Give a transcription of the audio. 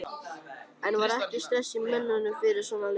En var ekki stress í mönnum fyrir svona leik?